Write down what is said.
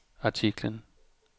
artiklen